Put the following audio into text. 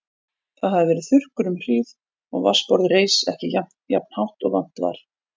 Það hafði verið þurrkur um hríð og vatnsborðið reis ekki jafnt hátt og vant var.